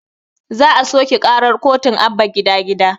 Za a soƙe karar kotun abba gida gida